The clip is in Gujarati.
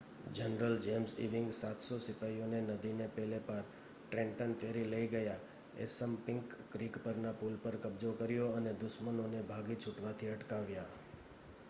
જનરલ જેમ્સ ઇવિંગ 700 સિપાઇઓને નદીને પેલે પાર ટ્રેન્ટન ફેરી લઈ ગયા એસંપિંક ક્રીક પરના પુલ પર કબ્જો કર્યો અને દુશ્મનોને ભાગી છૂટવાથી અટકાવ્યા